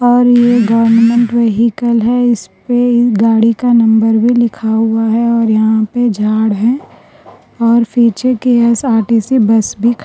اور یہ government vehicle ہے۔ اس پہ گاڑی کا نمبر بھی لکھا ہوا ہے اور یہاں پر جھاڑ ہے اور پیچھے کے آر_ٹی_سی بس بھی کھ--